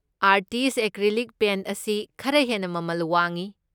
Artist acrylic paint ꯑꯁꯤ ꯈꯔ ꯍꯦꯟꯅ ꯃꯃꯜ ꯋꯥꯡꯉꯤ꯫